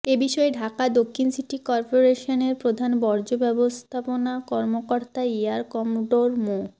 এ বিষয়ে ঢাকা দক্ষিণ সিটি করপোরেশনের প্রধান বর্জ্য ব্যবস্থাপনা কর্মকর্তা এয়ার কমডোর মো